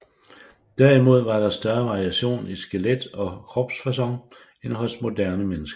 Derimod var der større variation i skelet og kropsfaçon end hos moderne mennesker